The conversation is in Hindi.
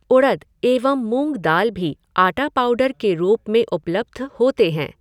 उड़द एवं मूँग दाल भी आटा पाऊडर के रूप में उपलब्ध होते हैं।